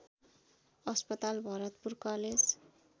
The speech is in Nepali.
अस्पताल भरतपुर कलेज